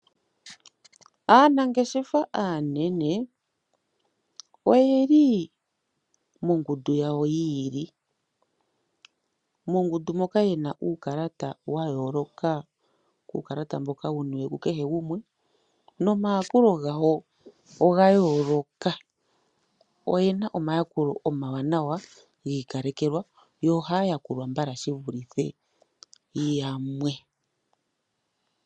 Aanangeshefa aanene oyeli mongundu yawo yiili. Mongundu moka yena uukalata wa yooloka kwaambono wuniwe ku kehe gumwe. Omayakulo gawo oga yooloka, oyena omayakulo omawanawa giikalekelwa nohaya yakulwa mbala yevulithe yamwe.